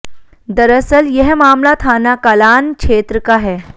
दरअसल यह मामला थाना कलान क्षेत्र का है